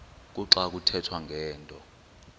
kuxa kuthethwa ngento